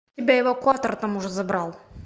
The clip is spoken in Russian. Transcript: тебя эвакуатор там уже забрал